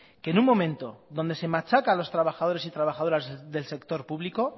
que en un momento donde se machaca a los trabajadores y trabajadoras del sector público